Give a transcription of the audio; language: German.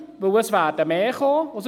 Denn es werden mehr kommen.